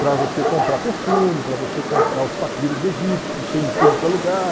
Para você comprar perfume, para você comprar os papiros egípcios, que tem em tudo que é lugar.